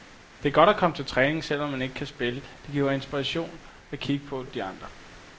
Det er godt at komme til træning, selv om man ikke kan spille, det giver inspiration at kigge på de andre.